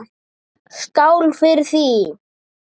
Skál fyrir því!